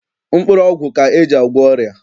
Mkpụrụọgwụ ka e ji agwọ ọrịa.